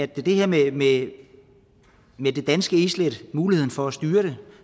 det her med det med det danske islæt muligheden for at styre det